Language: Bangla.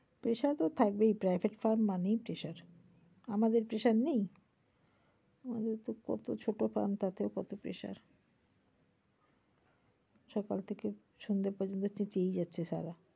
pressure তো থাকবেই private farm মানেই pressure । আমাদের pressure নেই? আমাদের তো কত ছোট farm টাতে কত pressure । সকাল থেকে সন্ধ্যা পর্যন্ত চেচিয়েই যাচ্ছে সালা।